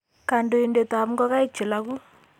Kandoindetap ngogaik che logu